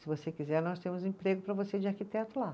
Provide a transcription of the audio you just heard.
Se você quiser, nós temos emprego para você de arquiteto lá.